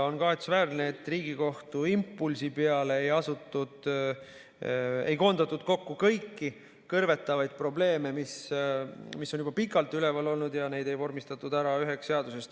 On kahetsusväärne, et Riigikohtu impulsi peale ei koondatud kokku kõiki kõrvetavaid probleeme, mis on juba pikalt üleval olnud, ja neid ei vormistatud üheks seaduseks.